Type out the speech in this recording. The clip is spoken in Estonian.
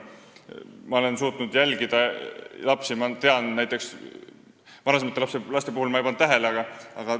Ma suudan nüüd lapsi jälgida, varem ma ei pannud paljusid asju tähele.